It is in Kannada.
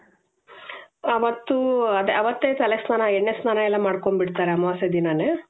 ಅವತ್ತೇ ತಲೆ ಸ್ನಾನ ಎಣ್ಣೆ ಸ್ನಾನ ಮಾಡ್ಕೊಂಡ್ ಬಿಡ್ತಾರೆ ಅಮಾವಾಸ್ಯೆ ದಿನನೇ .